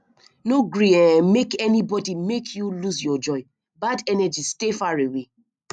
no gree um make anybody make you lose your joy bad energy stay far away